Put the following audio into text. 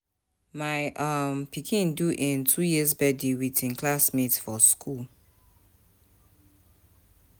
My um pikin do im two years birthday wit im classmates for skool.